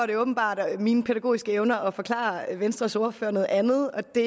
det åbenbart mine pædagogiske evner at forklare venstres ordfører noget andet og det